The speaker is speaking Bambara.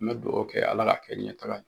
N bɛ dugawu kɛ Ala k'a kɛ ɲɛtaga ye